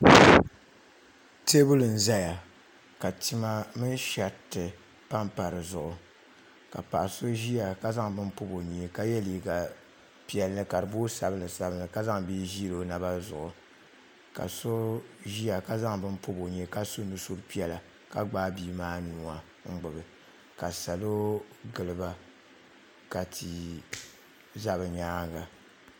teebuli n ʒɛya ka tima mini shɛriti panpa dizuɣu ka paɣa so ʒiya ka zaŋ bini pobi o nyee ka yɛ liiga piɛlli ka di booi sabinli sabinli ka zaŋ bia ʒili o naba zuɣu ka so ʒiya ka zaŋ bini pobi o nyee ka su nusuriti piɛla ka gbaai bia maa nuu n gbubi ka salo giliba ka tia ʒɛ bi nyaanga